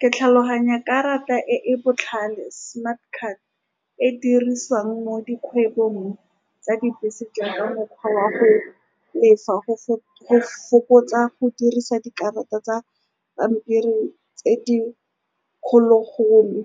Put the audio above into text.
Ke tlhaloganya, karata e e botlhale, smart card, e dirisiwang mo dikgwebong tsa dibese jaaka mokgwa wa go lefa, go fokotsa go dirisa dikarata tsa pampiri tse di kgologolo.